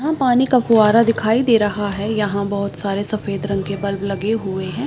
यहाँ पानी का फुव्वारा दिखाई दे रहा है यहाँ बहोत सारे सफ़ेद रंग के बल्ब लगे हुए हैं।